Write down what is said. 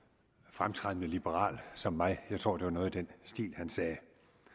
fremtrædende liberal som mig jeg tror det var noget i den stil han sagde